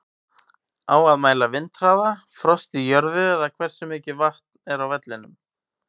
Á að mæla vindhraða, frost í jörðu eða hversu mikið vatn er á vellinum?